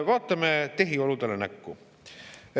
Vaatame tehioludele näkku.